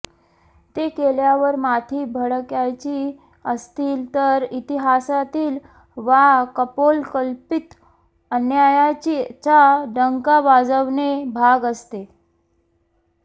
ते केल्यावर माथी भडकायची असतील तर इतिहासातील वा कपोलकल्पित अन्यायाचा डंका वाजवणे भाग असते